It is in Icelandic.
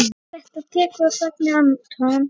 Þetta tekur á sagði Anton.